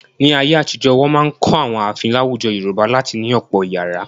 Ní ayé-àtijọ, wọn máa ń kọ́ àwọn ààfin láwùjọ Yorùbá láti ní ọ̀pọ̀ ìyàrá.